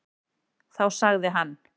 Þá sagði hann: